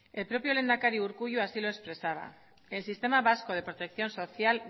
el propio lehendakari urkullu así lo expresaba el sistema vasco de protección social